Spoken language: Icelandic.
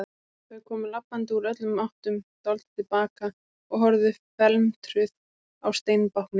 Þau komu labbandi úr öllum áttum, dáldið til baka og horfðu felmtruð á steinbáknið.